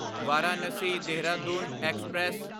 Varanasi Dehradun express